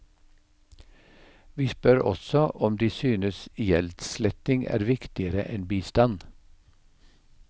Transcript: Vi spør også om de synes gjeldssletting er viktigere enn bistand.